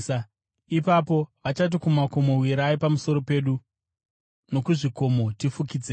Ipapo “vachati kumakomo, ‘Wirai pamusoro pedu!’ nokuzvikomo, ‘Tifukidzei!’